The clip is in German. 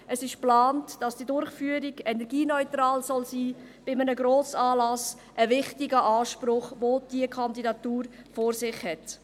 Es ist geplant, dass die Durchführung energieneutral sein soll – bei einem Grossanlass ein wichtiger Anspruch, den diese Kandidatur vor sich hat.